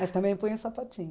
Mas também põe um sapatinho.